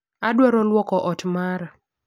Adwaro lwoko ot mara